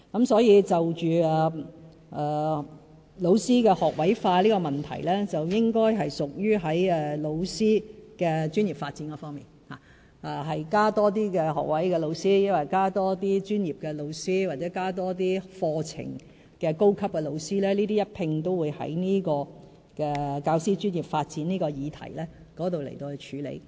所以，教師學位化的問題，應該屬於教師的專業發展方面，究竟是增加學位教師、專業教師，還是課程的高級教師，會一併在教師專業發展的議題上處理。